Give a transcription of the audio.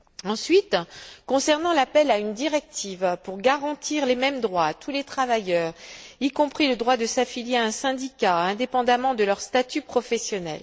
Ensuite, concernant l'appel à une directive pour garantir les mêmes droits à tous les travailleurs, y compris le droit de s'affilier à un syndicat, indépendamment de leur statut professionnel.